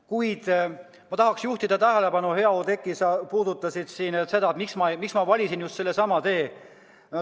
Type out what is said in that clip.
Kuid ma tahaksin juhtida tähelepanu, hea Oudekki, et sa puudutasid seda, miks ma valisin just selle tee.